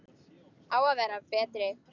Á að vera betri.